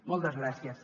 moltes gràcies